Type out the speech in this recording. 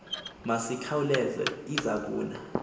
masikhauleze iza kuna